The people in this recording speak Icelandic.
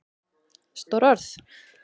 Stór orð?